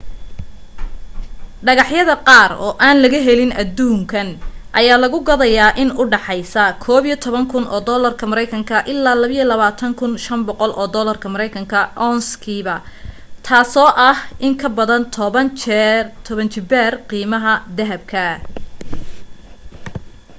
dhagax yada qaar oo aan laga helin aduunkan ayaa la gadaya in udhaxeyso us$11,000 ilaa $22,500 ounce-kiiba taaso ah in kabadan toban jibaar qiimaha dahabka